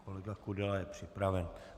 Kolega Kudela je připraven.